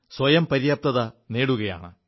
സ്വയം പര്യാപ്തത നേടുകയാണ്